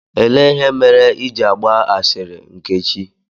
Elee ihe mere Ị ji agba ahịrị, Nkechi?